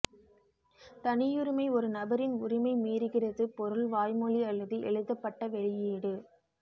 தனியுரிமை ஒரு நபரின் உரிமை மீறுகிறது பொருள் வாய்மொழி அல்லது எழுதப்பட்ட வெளியீடு